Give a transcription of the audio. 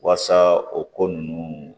Waasa o ko ninnu